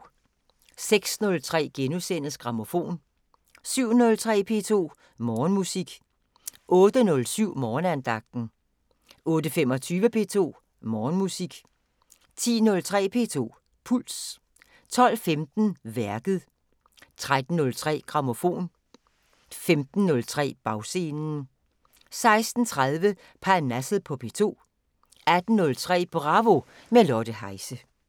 06:03: Grammofon * 07:03: P2 Morgenmusik 08:07: Morgenandagten 08:25: P2 Morgenmusik 10:03: P2 Puls 12:15: Værket 13:03: Grammofon 15:03: Bagscenen 16:30: Parnasset på P2 18:03: Bravo – med Lotte Heise